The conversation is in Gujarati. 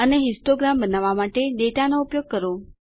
અને હિસ્ટોગ્રામ બનાવવા માટે ડેટાનો ઉપયોગ કરો